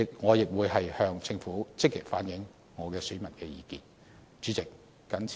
我亦會向政府積極反映我界別選民的意見。